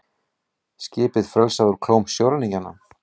Skip frelsað úr klóm sjóræningja